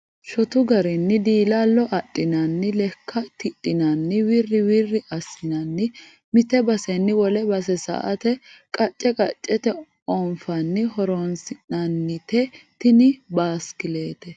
Shotu garinni dilalo adhinanni lekka tidhinanni wiri wiri assinani mite baseni wole base sa"ate qace qacete onfanni horonsi'nannite tini basikilite.